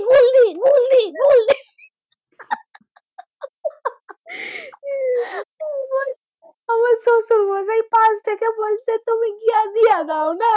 নিয়েযাও না।